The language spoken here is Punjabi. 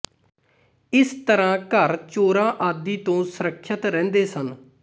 ਇਸ ਤਰ੍ਹਾਂ ਘਰ ਚੋਰਾਂ ਆਦਿ ਤੋਂ ਸੁਰੱਖਿਅਤ ਰਹਿੰਦੇ ਸਨ